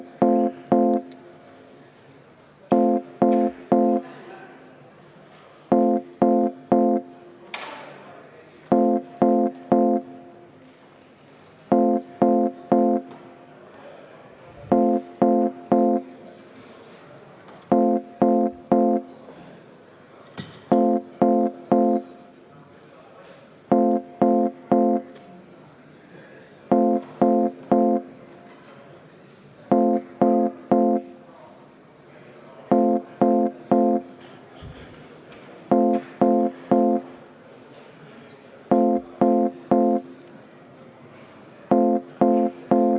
Muudatusettepaneku nr 9 esitaja on Reformierakonna fraktsioon, juhtivkomisjoni otsus: jätta arvestamata.